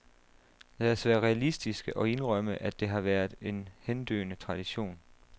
Lad os være realistiske og indrømme, at det har været en hendøende tradition.